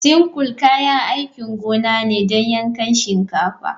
Sickle kayan aikin gona ne don yankan shinkafa.